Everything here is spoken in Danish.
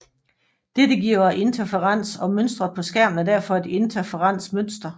Dette giver interferens og mønstret på skærmen er derfor et interferensmønster